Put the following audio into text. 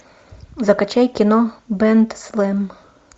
закачай кино бэндслэм